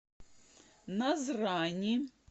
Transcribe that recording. назрани